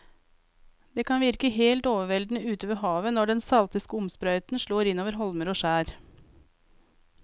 Det kan virke helt overveldende ute ved havet når den salte skumsprøyten slår innover holmer og skjær.